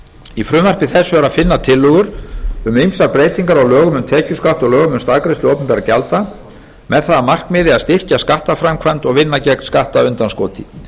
í frumvarpi þessu er að finna tillögur um ýmsar breytingar á lögum um tekjuskatt og lögum um staðgreiðslu opinberra gjalda með það að markmiði að styrkja skattframkvæmd og vinna gegn skattundanskoti